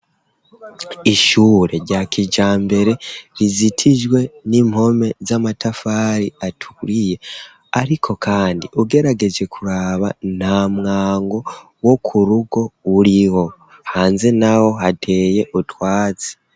Ishure rya kija mbere rizitijwe n'impome z'amatafari aturiye, ariko, kandi ugerageje kuraba nta mwango wo ku rugo uriho hanze na ho hateye utwazi.